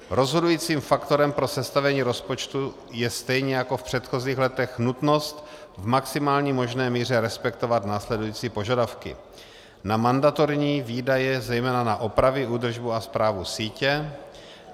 Rozhodujícím faktorem pro sestavení rozpočtu je stejně jako v předchozích letech nutnost v maximální možné míře respektovat následující požadavky: na mandatorní výdaje, zejména na opravy, údržbu a správu sítě;